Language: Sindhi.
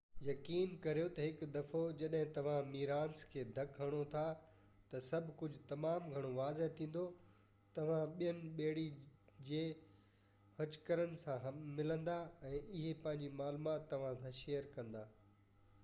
يقين ڪريو ته هڪ دفعو جڏهن توهان ميريناس کي ڌڪ هڻو ٿا ته سڀ ڪجهه تمام گهڻو واضح ٿيندو توهان ٻين ٻيڙي جي هچڪرن سان ملندا ۽ اهي پنهنجي معلومات توهان سان شيئر ڪندا